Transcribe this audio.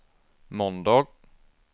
måndag